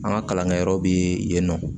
An ka kalankɛyɔrɔ bi yen nɔ